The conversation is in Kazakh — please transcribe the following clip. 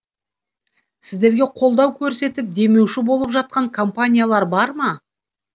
сіздерге қолдау көрсетіп демеуші болып жатқан компаниялар бар ма